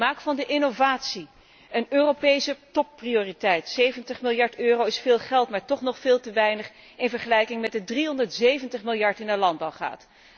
Maak van de innovatie een Europese topprioriteit. 70 miljard euro is veel geld, maar toch nog veel te weinig in vergelijking met de 370 miljard die naar landbouw gaat.